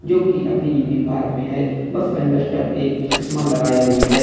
जोकि अपनी यूनिफॉर्म में है बस कंडक्टर एक चश्मा लगाए हुए हैं।